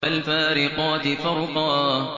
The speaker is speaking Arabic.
فَالْفَارِقَاتِ فَرْقًا